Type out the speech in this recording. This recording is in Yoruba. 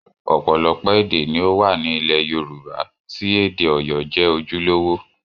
Ọ̀pọ̀lọpọ̀ èdè ni ó wà ní ilẹ̀ Yorùbá tí èdè Ọ̀yọ́ jẹ́ ojúlówó